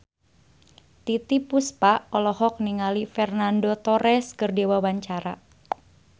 Titiek Puspa olohok ningali Fernando Torres keur diwawancara